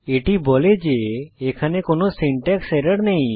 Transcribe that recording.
এটি বলে যে এখানে কোনো সিনট্যাক্স এরর নেই